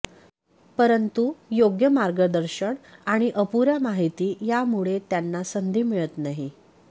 परंतु योग्य मार्गदर्शन आणि अपुऱ्या माहिती यामुळे त्यांना संधी मिळत नाही